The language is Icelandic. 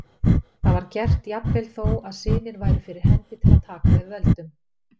Þetta var gert jafnvel þó að synir væru fyrir hendi til að taka við völdum.